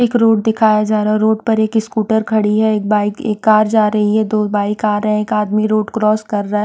एक रोड दिखाया जा रहा हैं रोड पर एक स्कूटर खड़ी हैं एक बाइक एक कार जा रही हैं दो बाइक आ रहे हैं एक आदमी रोड क्रॉस कर रहा हैं।